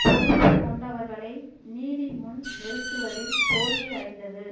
பொறுப்பு கொண்டவர்களை நீதி முன் நிறுத்துவதில் தோல்வி அடைந்தது